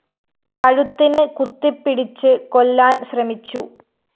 ് കഴുത്തിന് കുത്തിപ്പിടിച്ച് കൊല്ലാന്‍ ശ്രമിച്ചു